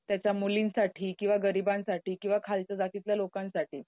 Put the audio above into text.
त्याच्या मुलींसाठी किंवा गरिबांसाठी, किंवा खालच्या जातीतल्या लोकांसाठी